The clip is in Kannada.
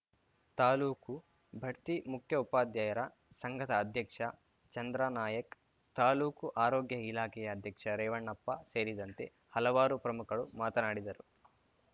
ತಾಲೂಕು ಬಡ್ತಿ ಮುಖ್ಯಉಪಾಧ್ಯಾಯರ ಸಂಘದ ಅಧ್ಯಕ್ಷ ಚಂದ್ರಾ ನಾಯಕ್‌ ತಾಲೂಕು ಆರೋಗ್ಯ ಇಲಾಖೆಯ ಅಧ್ಯಕ್ಷ ರೇವಣಪ್ಪ ಸೇರಿದಂತೆ ಹಲವಾರು ಪ್ರಮುಖರು ಮಾತನಾಡಿದರು